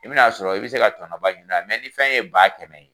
I bi na sɔrɔ i be se ka tɔnɔ ba ɲini a la. ni fɛn ye ba kɛmɛ ye